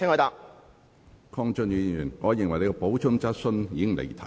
鄺俊宇議員，你的補充質詢已經離題。